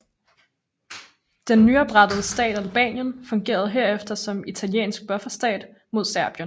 Den nyoprettede stat Albanien fungerede herefter som italiensk bufferstat mod Serbien